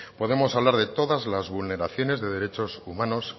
podemos hablar de todas las vulneraciones de derechos humanos